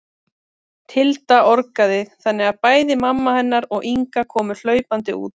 Tilda orgaði þannig að bæði mamma hennar og Inga komu hlaupandi út.